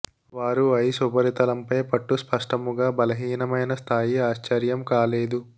వారు ఐస్ ఉపరితలంపై పట్టు స్పష్టముగా బలహీనమైన స్థాయి ఆశ్చర్యం కాలేదు